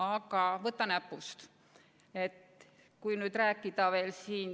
Aga võta näpust!